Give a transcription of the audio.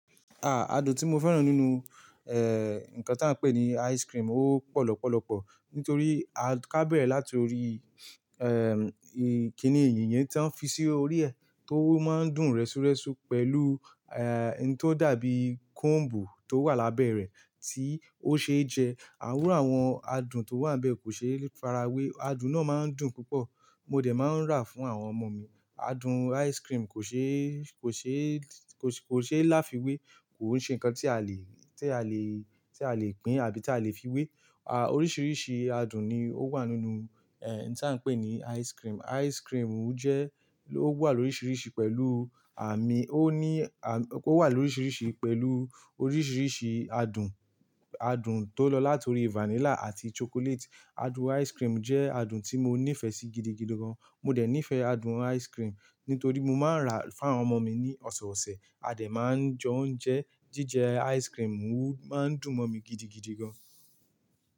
À, adùn tí mo fẹ́ràn nínú, eh, nǹkan tí à ń pè ní ice cream ó pọ̀ lọ́pọ̀lọ́pọ̀ nítorí a kábẹ̀rẹ̀ láti orí, ẹm, kìnìyíyìn yẹn tó ń fi sí orí ẹ̀ tó máa ń dùn rẹ́súrẹ́sú pẹ̀lú, eh, ohun tó dàbí combu tó wà lábẹ́ rẹ̀ tí ó ṣe é jẹ. Iru awon adùn tó wà nbẹ̀ kò ṣe é farawé. Adùn náà máa ń dùn púpọ̀. Mo dẹ̀ máa ń rà fún àwọn ọmọ mi. Adùn ice cream kò ṣe, kò ṣe, kò ṣe é láfiwé, kò ṣe nǹkan tí a lè, tí a lè, tí a lè pín àbí tí a lè fiwé. À, oríṣiríṣi adùn ni ó wà nínú, ẹ, nǹkan tí à ń pè ní ice cream. Ice cream jẹ, ó wà lóríṣiríṣi pẹ̀lú àmì, ó ní, ó wà lóríṣiríṣi pẹ̀lú oríṣiríṣi adùn. Adùn tó lọ láti orí vanilla àti chocolate. Adùn ice cream jẹ́ adùn tí mo nífẹ̀ẹ́ sí gidigidi gan. Mo dẹ̀ nífẹ̀ẹ́ adùn ice cream nítorí mo máa ń rà fún àwọn ọmọ mi ní ọ̀sọ̀ọ̀sẹ̀. A dẹ̀ máa ń jẹ oúnjẹ. Jíjẹ ice cream máa ń dùn mọ́ mi gidigidi gan.